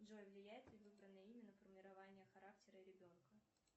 джой влияет ли выбранное имя на формирование характера ребенка